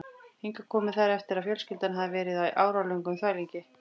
Hingað komu þær eftir að fjölskyldan hafði verið á áralöngum þvæl